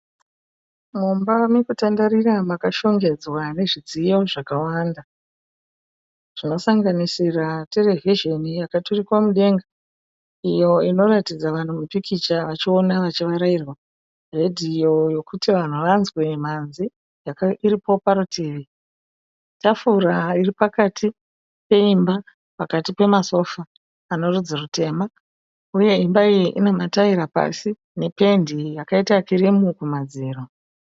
Mumba mekutandarira makashongedzwa nezvidziyo zvakawanda. Zvinosanganisira terevhizhoni yakaturikwa mudenga. Iyo inoratidza vanhu mupikicha vachiona vachivarairwa. Radio yekuti vanhu vanzwe mhanzi iripo parutivi. Tafura iripakati peimba pakati pemasofa ane rudzi rutema. Uye imba iyi ina mataera pasi nependi yakaita kirimu kumadziro.